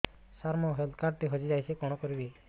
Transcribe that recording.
ସାର ମୋର health card ଟି ହଜି ଯାଇଛି କଣ କରିବି